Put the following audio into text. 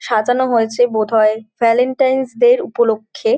সাজানো হয়েছে বোধায় ভ্যালেন্টাইন ডে -র উপলক্ষে।